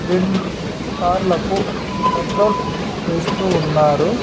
రెండు కార్లకు పెట్రోల్ వేస్తూ ఉన్నారు.